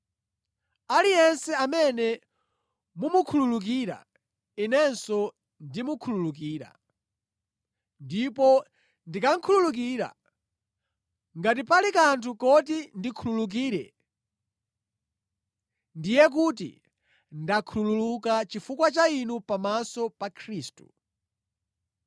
Aliyense amene mumukhululukire, inenso ndimukhululukira. Ndipo ndikakhululukira, ngati pali kanthu koti ndikhululukire, ndiye kuti ndakhululuka chifukwa cha inu pamaso pa Khristu,